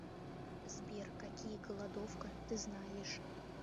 сбер какие голодовка ты знаешь